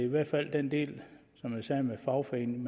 hvert fald den del med fagforeningen